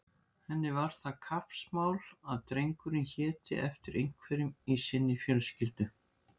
Henni var það kappsmál að drengurinn héti eftir einhverjum í sinni fjölskyldu.